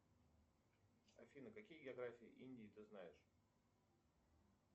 афина какие географии индии ты знаешь